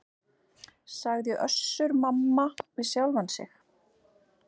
sagði Össur-Mamma við sjálfan sig.